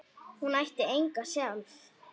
Hún ætti enga sjálf.